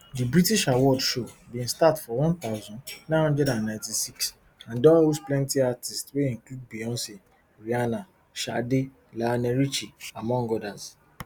di british award show bin start for one thousand, nine hundred and ninety-six and don host plenti artists wey include beyonce rihanna sade lionel richie among odas